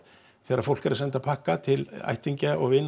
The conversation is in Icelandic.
þegar fólk er að senda pakka til ættingja og